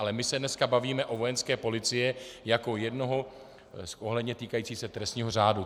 Ale my se dneska bavíme o Vojenské policii jako jednoho, ohledně týkající se trestního řádu.